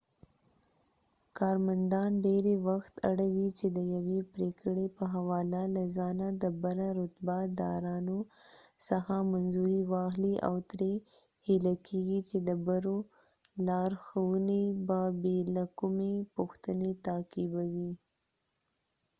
کارمندان ډېری وخت اړ وي چې د یوې پرېکړې په حواله له ځانه د بره رتبه دارانو څخه منظوري واخلي او ترې هیله کيږي چې د برو لارښوونې به بې له کومې پوښتنې تعقیبوي